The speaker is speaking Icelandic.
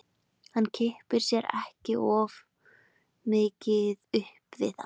Hann kippti sér ekki of mikið upp við það.